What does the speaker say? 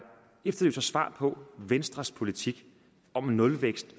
efterlyser svar på venstres politik om nulvækst